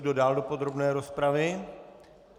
Kdo dál do podrobné rozpravy?